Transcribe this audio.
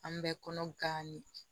An bɛ kɔnɔ gan de